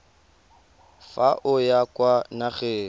fa o ya kwa nageng